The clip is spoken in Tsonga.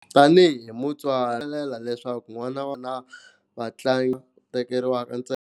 Tanihi mutswari rilela leswaku n'wana wa vona va tlanga tekeriwaka ntsena.